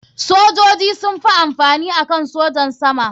Sojoji sun fi amfani akan sojan sama.